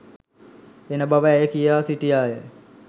එන බව ඇය කියා සිටියාය